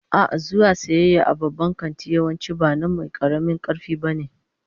A'a, zuwa sayayya a babban kanti yawanci ba na mai karamin karfi ba ne